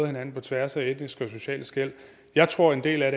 hinanden på tværs af etniske og sociale skel jeg tror en del af